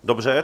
Dobře.